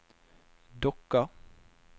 Dokka